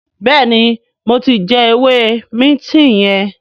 béèni mo tí jé ewé Minti yen.